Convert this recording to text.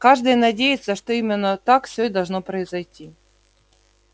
каждый надеется что именно так все и должно произойти